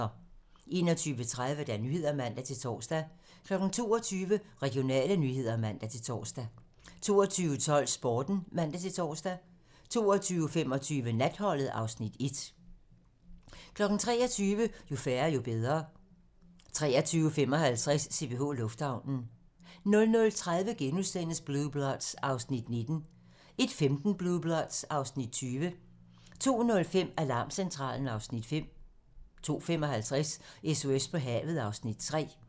21:30: Nyhederne (man-tor) 22:00: Regionale nyheder (man-tor) 22:12: Sporten (man-tor) 22:25: Natholdet (Afs. 1) 23:00: Jo færre, jo bedre 23:55: CPH Lufthavnen 00:30: Blue Bloods (Afs. 19)* 01:15: Blue Bloods (Afs. 20) 02:05: Alarmcentralen (Afs. 5) 02:55: SOS på havet (Afs. 3)